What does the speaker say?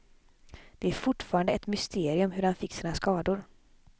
Det är fortfarande ett mysterium hur han fick sina skador.